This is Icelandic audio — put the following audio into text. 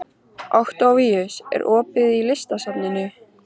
Októvíus, er opið í Listasafninu?